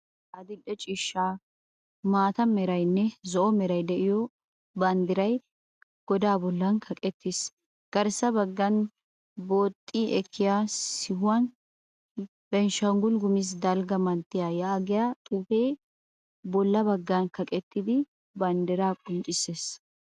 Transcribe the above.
Karetta, adil'e ciishsha, maata meranne zo'o Meray de"iyoo banddiray godaa bollan kaqettis Garssa baggan booxxi ekkiya sihuwan benishangul gumuze dalgga manttiyaa yaagiya xuufe bolla baggan kaqettida banddiraa qonccisses